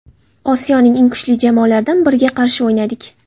Osiyoning eng kuchli jamoalardan biriga qarshi o‘ynadik.